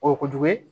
O ye kojugu ye